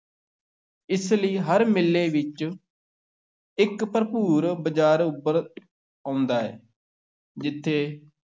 ਇਸੇ ਲਈ ਹਰ ਮੇਲੇ ਵਿੱਚ ਇੱਕ ਭਰਪੂਰ ਬਜ਼ਾਰ ਉੱਭਰ ਆਉਂਦਾ ਹੈ, ਜਿੱਥੇ